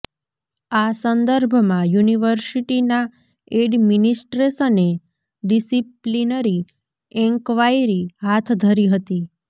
આ સંદર્ભમાં યુનિવર્સિટીના એડમીનીસ્ટ્રેશને ડીસીપ્લીનરી એન્કવાયરી હાથ ધરી હતી